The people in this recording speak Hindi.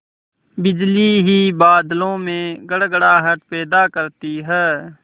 बिजली ही बादलों में गड़गड़ाहट पैदा करती है